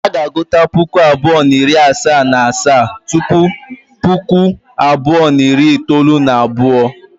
A ga-agụta Puku abụọ na iri asato na asaa tupu Puku abụọ na iri itoolu na abuo.